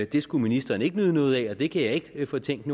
det skulle ministeren ikke nyde noget af det kan jeg ikke fortænke